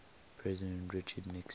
president richard nixon